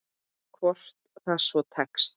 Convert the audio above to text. Hvort sem það svo tekst.